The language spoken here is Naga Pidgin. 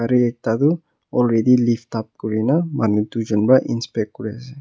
ami ekta tu already livetab kori na manu duijont para inspact kori ase.